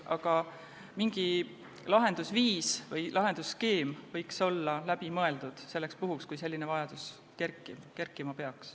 Aga mingi lahendusviis või lahendusskeem võiks olla läbi mõeldud selleks puhuks, kui selline vajadus tekkima peaks.